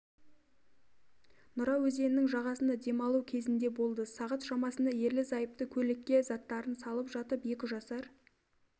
нұра өзенінің жағасында демалу кезінде болды сағат шамасында ерлік-зайыпты көлікке заттарын салып жатып екі жасар